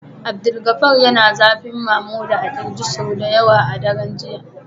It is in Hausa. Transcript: Abdulgafar yana zafi Mamuda a kirji sau da yawa a daren jiya